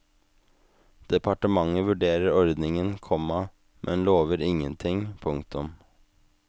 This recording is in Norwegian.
Departementet vurderer ordningen, komma men lover ingenting. punktum